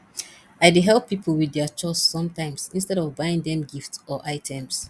i dey help people with their chores sometimes instead of buying them gifts or items